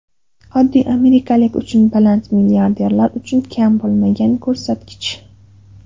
Oddiy amerikalik uchun baland, milliarderlar uchun kam bo‘lmagan ko‘rsatkich.